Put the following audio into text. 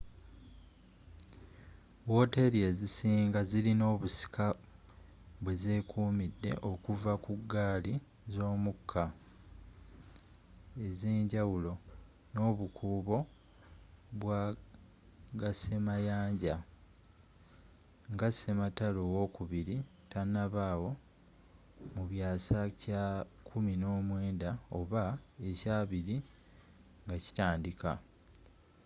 wooteri ezisinga zirina obusika bwe zekumidde okuva ku ggaali z'omukka ezenjawulo n'obukuubo bwa gasemayanja nga sematalo owokubiri tanabaawo mu byasa kya 19 oba ekya 20 nga kitandika